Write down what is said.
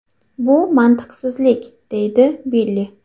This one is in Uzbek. Bu mantiqsizlik”, deydi Billi.